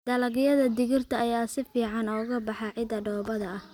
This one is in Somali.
Dalagyada digirta ayaa si fiican uga baxa ciidda dhoobada ah.